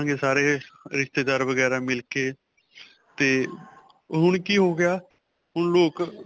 ਕਰਾਂਗੇ ਸਾਰੇ ਰਿਸ਼ਤੇਦਾਰ ਵਗੈਰਾ ਮਿਲਕੇ 'ਤੇ ਹੁਣ ਕੀ ਹੋ ਗਿਆ, ਹੁਣ ਲੋਕ.